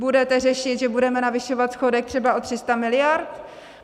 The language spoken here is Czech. Budete řešit, že budeme navyšovat schodek třeba o 300 miliard?